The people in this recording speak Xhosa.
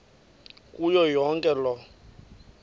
kuyo yonke loo